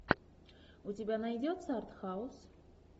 у тебя найдется арт хаус